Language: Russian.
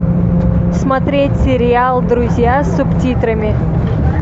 смотреть сериал друзья с субтитрами